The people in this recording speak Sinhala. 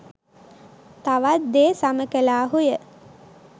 තවත් දේ සම කළාහුය.